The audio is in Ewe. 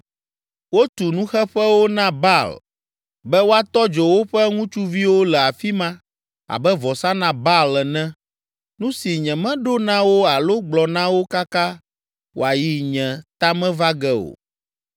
Wotu nuxeƒewo na Baal be woatɔ dzo woƒe ŋutsuviwo le afi ma abe vɔsa na Baal ene, nu si nyemeɖo na wo alo gblɔ na wo kaka wòayi nye ta me va ge o.